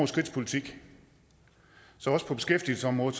skridts politik så også på beskæftigelsesområdet